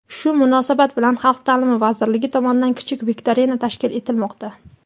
Shu munosabat bilan Xalq taʼlimi vazirligi tomonidan kichik viktorina tashkil etilmoqda.